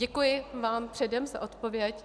Děkuji vám předem za odpověď.